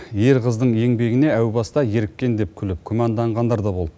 ер қыздың еңбегіне әу баста еріккен деп күліп күмәнданғандар да болды